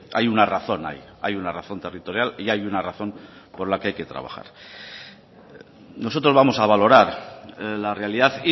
hay una razón ahí hay una razón territorial y hay una razón con la que hay que trabajar nosotros vamos a valorar la realidad